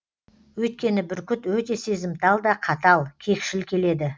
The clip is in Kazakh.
өйткені бүркіт өте сезімтал да қатал кекшіл келеді